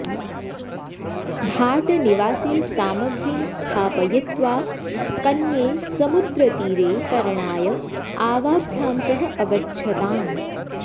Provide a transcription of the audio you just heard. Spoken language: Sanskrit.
भाटनिवासे सामग्रीं स्थापयित्वा कन्ये समुद्रतीरे तरणाय आवाभ्यां सह अगच्छताम्